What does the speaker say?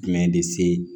Jumɛn de se